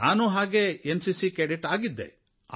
ನಾನೂ N CC cadet ಆಗಿದ್ದೆ